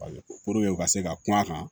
u ka se ka kuma a kan